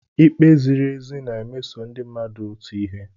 Ikpe ziri ezi na-emeso ndị mmadụ otu ihe.